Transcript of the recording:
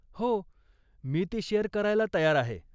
हो, मी ती शेअर करायला तयार आहे.